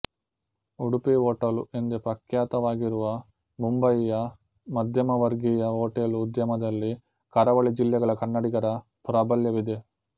Udupi hotel ಎಂದೇ ಪ್ರಖ್ಯಾತವಾಗಿರುವ ಮುಂಬಯಿಯ ಮಧ್ಯಮವರ್ಗೀಯ ಹೋಟೆಲು ಉದ್ಯಮದಲ್ಲಿ ಕರಾವಳಿ ಜಿಲ್ಲೆಗಳ ಕನ್ನಡಿಗರ ಪ್ರಾಬಲ್ಯವಿದೆ